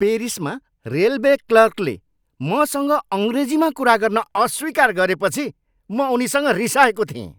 पेरिसमा railway क्लर्कले मसँग अङ्ग्रेजीमा कुरा गर्न अस्वीकार गरेपछि म उनीसँग रिसाएको थिएँ।